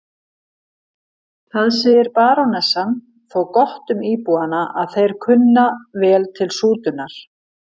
Það segir barónessan þó gott um íbúana að þeir kunna vel til sútunar.